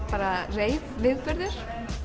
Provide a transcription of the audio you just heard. reif viðburður